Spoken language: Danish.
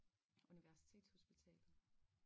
Universitetshospitalet